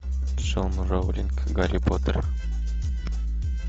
гарри поттер